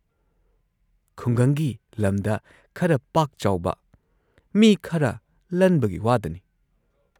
ꯈꯨꯡꯒꯪꯒꯤ ꯂꯝꯗ ꯈꯔ ꯄꯥꯛ-ꯆꯥꯎꯕ ꯃꯤ ꯈꯔ ꯂꯟꯕꯒꯤ ꯋꯥꯗꯅꯤ" ꯫